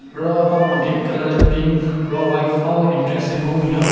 Ro ahon gate colour le pink ro white ahon entrance le kenhun binyon.